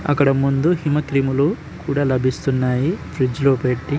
అక్కడ ముందు హిమ క్రీములు కూడా లభిస్తున్నాయ్ ఫ్రిడ్జ్ లో పేటి.